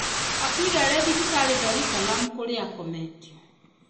Akuire arĩ thibitarĩ , Dar es Salaam, kũrĩa akometio.